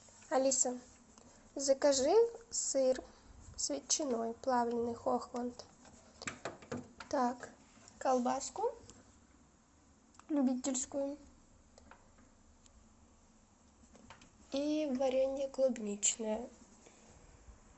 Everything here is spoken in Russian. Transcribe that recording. алиса закажи сыр с ветчиной плавленый хохланд так колбаску любительскую и варенье клубничное